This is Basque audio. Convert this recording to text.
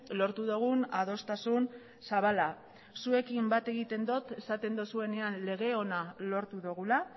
lortu dugun adostasun zabala zuekin bat egiten dut esaten duzuenean lege ona lortu dugula